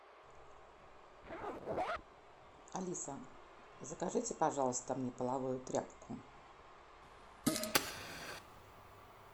алиса закажите пожалуйста мне половую тряпку